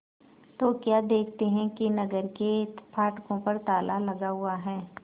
तो क्या देखते हैं कि नगर के फाटकों पर ताला लगा हुआ है